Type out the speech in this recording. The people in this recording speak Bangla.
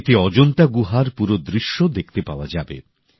এতে অজন্তা গুহার পুরো দৃশ্য দেখতে পাওয়া যাবে